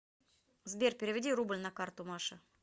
сбер переведи рубль на карту маше